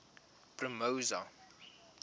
promosa